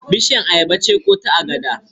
Bishiyar ayaba ce ko ta agada?